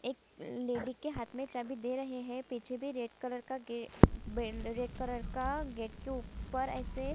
एक लेडी के हाथ में चाबी दे रहै है पीछे भी रेड कलर का गे ब रेड कलर का गेट के ऊपर ऐसे --